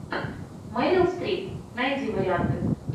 мэрил стрип найди варианты